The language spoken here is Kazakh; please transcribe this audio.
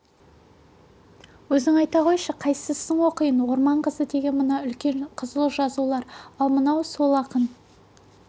өзің айта қойшы қайсысын оқиын орман қызы деген мына үлкен қызыл жазулар ал мынау сол ақын